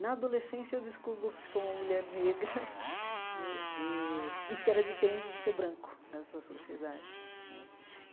Na adolescência, eu descubro que sou uma mulher negra né eh e que era diferente de ser branco nessa sociedade né.